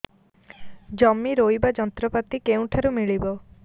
ଜମି ରୋଇବା ଯନ୍ତ୍ରପାତି କେଉଁଠାରୁ ମିଳିବ